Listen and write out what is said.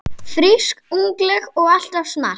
Frísk, ungleg og alltaf smart.